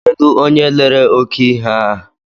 Kedụ onye lere oke ihe a ha?